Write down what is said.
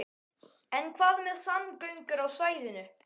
En hvað með samgöngur á svæðinu?